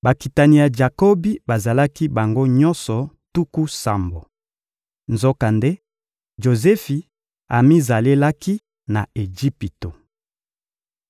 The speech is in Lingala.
Bakitani ya Jakobi bazalaki bango nyonso tuku sambo. Nzokande Jozefi amizalelaki na Ejipito.